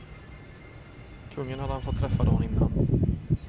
Kungen hade han fått träffa dagen innan.